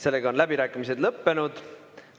Sellega on läbirääkimised lõppenud.